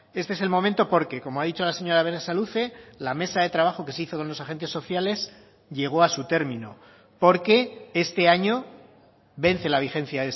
este es el momento porque como ha dicho la señora berasaluze la mesa de trabajo que se hizo con los agentes sociales llegó a su término porque este año vence la vigencia